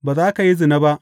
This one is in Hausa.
Ba za ka yi zina ba.